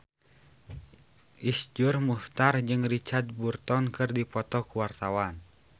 Iszur Muchtar jeung Richard Burton keur dipoto ku wartawan